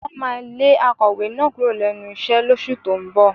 Wọ́n máa lé akọ̀wé náà kúrò lẹ́nu iṣẹ́ lóṣù tó ń bọ̀